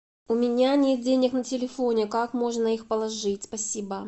у меня нет денег на телефоне как можно их положить спасибо